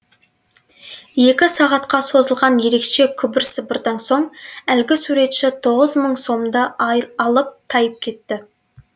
екі сағатқа созылған ерекше күбір сыбырдан соң әлгі суретші тоғыз мың сомды алып тайып кетті